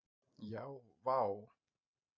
Já vá!